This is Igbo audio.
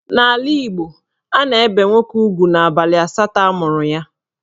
N'ala Igbo, a na-ebe nwoke ugwu n'abalị asatọ amụrụ ya.